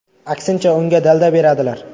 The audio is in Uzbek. Aksincha, unga dalda beradilar.